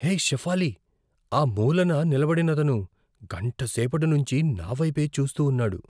హే షెఫాలీ, ఆ మూలన నిలబడినతను గంటసేపటి నుంచి నావైపే చూస్తూ ఉన్నాడు.